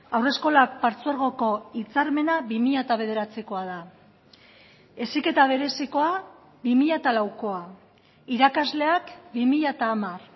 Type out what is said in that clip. haurreskolak partzuergoko hitzarmena bi mila bederatzikoa da heziketa berezikoa bi mila laukoa irakasleak bi mila hamar